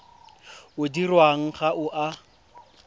o dirwang ga o a